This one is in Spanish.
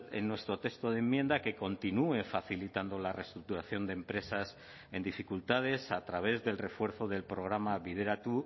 en nuestro texto de enmienda que continúe facilitando la reestructuración de empresas en dificultades a través del refuerzo del programa bideratu